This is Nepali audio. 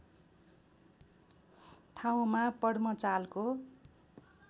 ठाउँमा पद्म चालको